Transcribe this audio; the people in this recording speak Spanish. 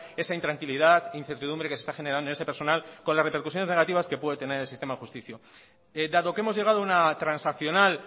esa intranquilidad incertidumbre que se está generando en ese personal con las repercusiones negativas que puede tener en el sistema de justicia dado que hemos llegado a una transaccional